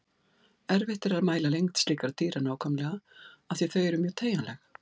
Erfitt er að mæla lengd slíkra dýra nákvæmlega af því að þau eru mjög teygjanleg.